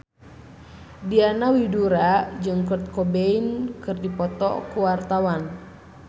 Diana Widoera jeung Kurt Cobain keur dipoto ku wartawan